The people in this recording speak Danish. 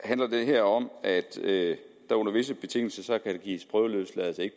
handler det her om at der under visse betingelser kan gives prøveløsladelse ikke